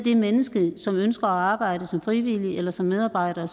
et menneske som ønsker at arbejde som frivillig eller som medarbejder